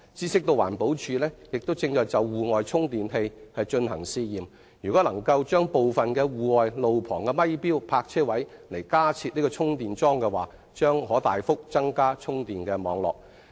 據悉，環境保護署亦正就戶外充電器進行試驗，若能在部分路旁咪錶泊車位加設充電樁，將可大幅地擴展充電網絡。